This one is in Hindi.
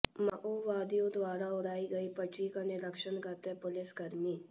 माओवादियों द्वारा उड़ाई गई पटरी का नीरिक्षण करते पुलिसकर्मी